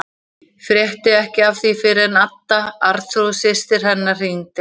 Frétti ekki af því fyrr en Adda, Arnþrúður systir hennar, hringdi.